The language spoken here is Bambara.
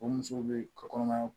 O musow be ka kɔnɔmaya